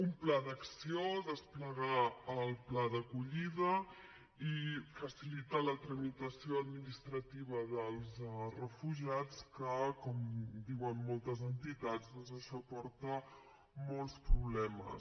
un pla d’acció desplegar el pla d’acollida i facilitar la tramitació administrativa dels refugiats que com diuen moltes entitats doncs això porta molts problemes